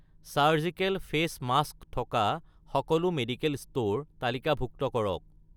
surgical face mask থকা সকলো medical store তালিকাভুক্ত কৰক